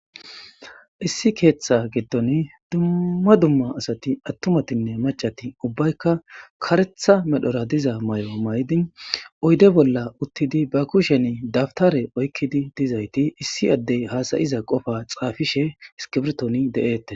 Issi ketha gidon Dumma dumma asati atumatinne macati ubbaykka karetha medhora diza mayo uyede bolla utidi ba kushen dabtare oykidi dizayti issi adey hasa'iza qofa xafishe de'etes